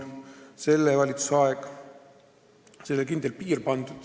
Selle valitsuse ajal on sellele kindel piir pandud.